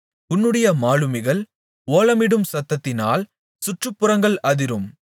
உன்னுடைய மாலுமிகள் ஓலமிடும் சத்தத்தினால் சுற்றுப்புறங்கள் அதிரும்